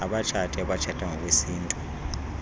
abatshati abatshata ngokwesintu